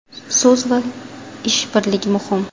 So‘z va ish birligi muhim.